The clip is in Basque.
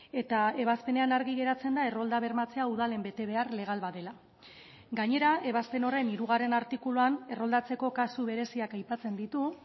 eta ebazpenean argi geratzen da errolda bermatzea udalen betebehar legal bat dela gainera ebazpen horren hirugarren artikuluan erroldatzeko kasu bereziak aipatzen ditu